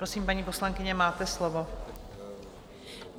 Prosím, paní poslankyně, máte slovo.